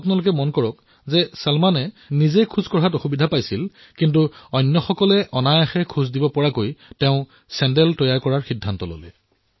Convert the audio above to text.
আপোনালোকে মন কৰক চলমানে নিজে খোজ কাঢ়িব নোৱাৰে কিন্তু তেওঁ আনৰ অহাযোৱা সহজ কৰিবলৈ চেণ্ডেল বনোৱাৰ কাম আৰম্ভ কৰিলে